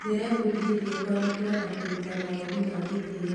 Ndĩrebundithirie kũamũkĩra na kũruta mawoni na gĩtĩo.